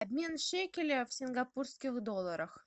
обмен шекеля в сингапурских долларах